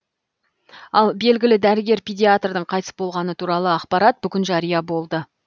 ал белгілі дәрігер педиатрдың қайтыс болғаны туралы ақпарат бүгін жария болды